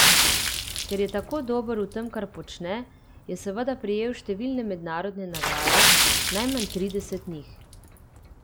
Ker je tako dober v tem, kar počne, je seveda prejel številne mednarodne nagrade, najmanj trideset njih.